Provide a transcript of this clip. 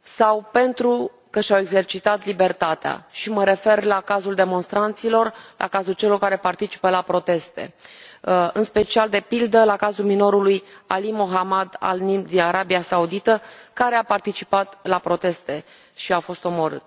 sau pentru că și au exercitat libertatea și mă refer la cazul demonstranților, la cazul celor care participă la proteste, în special, de pildă, la cazul minorului Ali Mohammed al Nimr din Arabia Saudită, care a participat la proteste și a fost omorât.